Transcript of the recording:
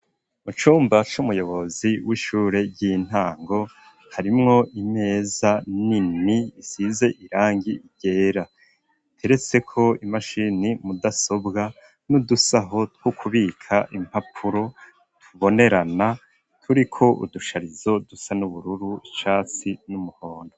Mucumba c'umuyobozi w'ishure ry'intango harimwo imeza nini isize irangi ryera iteretse ko imashini mudasobwa n'udusaho two kubika impapuro tubonerana turiko udusharizo dusa n'ubururu icatsi n'umuhondo.